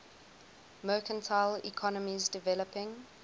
mercantile economies developing